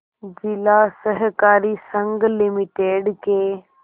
जिला सहकारी संघ लिमिटेड के